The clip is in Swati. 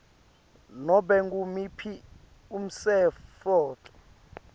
nobe ngumuphi umtsetfo